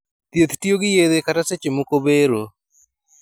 Thieth tiyo gi yedhe kata seche moko bero